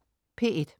P1: